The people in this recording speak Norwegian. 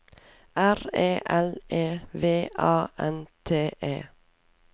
R E L E V A N T E